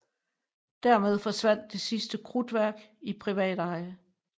Dermed forsvandt det sidste krudtværk i privat eje